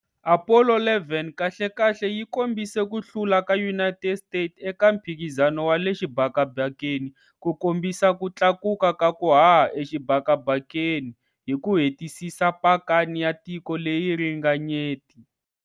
Apollo 11 kahlekahle yi kombise ku hlula ka United States eka Mphikizano wa le Xibakabakeni ku kombisa ku tlakuka ka ku haha exibakabakeni, hi ku hetisisa pakani ya tiko leyi ringanyeti.